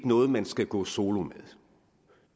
noget man skal gå solo med